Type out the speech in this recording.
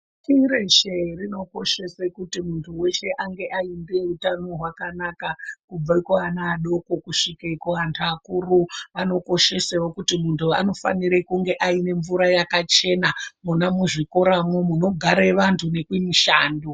Pashi reshe rinokoshese kuti muntu ange aine hutano hwakanaka kubve kuana adoko kusvike kuantu akuru. Vanokoshesewo kuti muntu anofanire kunge aine mvura yakachena, mwona muzvikoramwo, munogare vantu nekumishando.